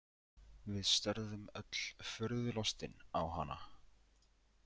Við störðum öll furðu lostin á hana.